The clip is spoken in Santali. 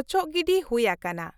ᱚᱪᱚᱜ ᱜᱤᱰᱤ ᱦᱩᱭᱟᱠᱟᱱᱟ ᱾